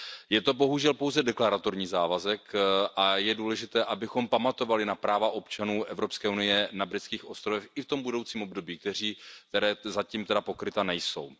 Je to bohužel pouze deklaratorní závazek a je důležité, abychom pamatovali na práva občanů EU na britských ostrovech i v tom budoucím období, která zatím pokryta nejsou.